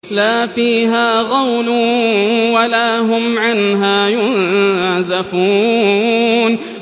لَا فِيهَا غَوْلٌ وَلَا هُمْ عَنْهَا يُنزَفُونَ